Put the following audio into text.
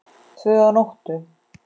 Tvö að nóttu